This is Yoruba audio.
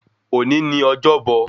Òní ni ọjọ́bọ̀